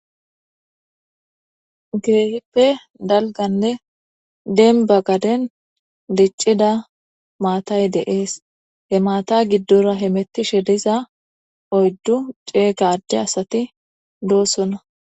Kehippe dalganne denba gaden diccida maatay deees he maata giddora he mettishe diza oyddu ceega adde asati doossona